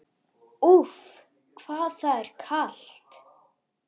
Úff, hvað það er kalt!